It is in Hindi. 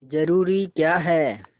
जरूरी क्या है